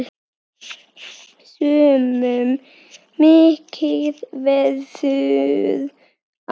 Sumum mikið verður á.